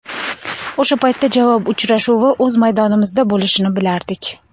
O‘sha paytda javob uchrashuvi o‘z maydonimizda bo‘lishini bilardik.